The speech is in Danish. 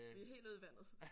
Det er helt ude i vandet